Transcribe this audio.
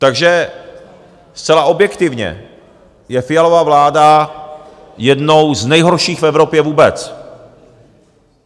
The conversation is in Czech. Takže zcela objektivně je Fialova vláda jednou z nejhorších v Evropě vůbec.